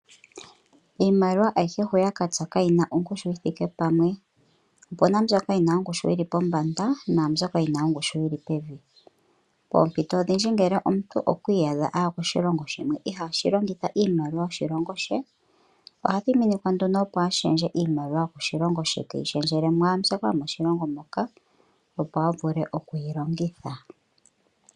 Iimaliwa ayihe huya katsa kayina ongushu yithikepamwe. Opuna mbyoka yina ongushu yili pombanda naa mbyoka yina ongushu yili pevi. Poompito odhindji ngele omuntu okwiiyadha aya koshilongo shimwe ihaashi longitha iimaliwa yoshilongo she, oha thiminikwa nduno opo ashendje iimaliwa yokoshilongo she teyi shendjele mwaa mbyoka yomoshilongo moka opo avule okuyilongitha.